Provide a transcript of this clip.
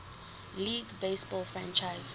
league baseball franchise